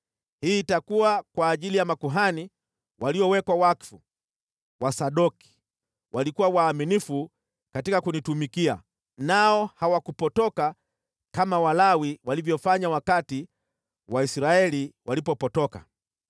Hii itakuwa kwa ajili ya makuhani waliowekwa wakfu, Wasadoki, waliokuwa waaminifu katika kunitumikia nao hawakupotoka kama Walawi walivyofanya wakati Waisraeli walipopotoka.